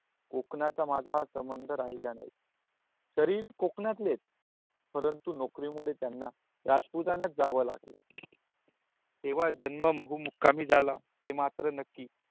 कोंकणा चा माझा हा संबंध राहला नहीं तरी कोकणातले परंतु नौकरी मुले राजपुतन्यत जाव लागला तेवा जन्म बहु मुक्कामी झाला ते मात्र नक्की